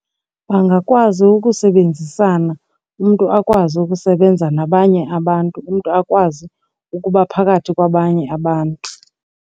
Bangakwazi ukusebenzisana, umntu akwazi ukusebenza nabanye abantu. Umntu akwazi ukuba phakathi kwabanye abantu.